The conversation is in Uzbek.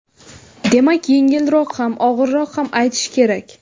Demak yengilroq ham, og‘irroq ham aytish kerak.